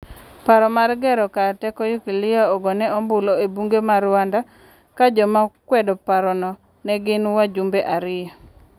Paro mar gero kar teko nyukilia ogone ombulu e bunge ma Rwanda ka jomanokwedo parono ne gin wajumbe ariyo.